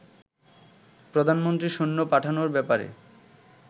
প্রধানমন্ত্রী সৈন্য পাঠানোর ব্যাপারে